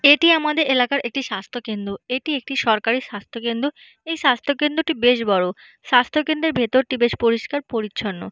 এটি আমাদের এলাকার একটি স্বাস্থকেন্দ্র এটি একটি সরকারি স্বাস্থকেন্দ্র এই স্বাস্থকেন্দ্রটি বেশ বড় স্বাস্থকেন্দ্রের ভেতর টি বেশ পরিষ্কার পরিচ্ছন্ন।